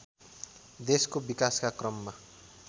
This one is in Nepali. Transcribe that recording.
देशको विकासका क्रममा